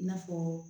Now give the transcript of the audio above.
I n'a fɔ